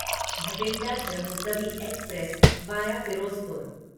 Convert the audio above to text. Bathinda Jammu Tawi express via Firozpur